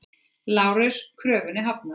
LÁRUS: Kröfunni hafnað!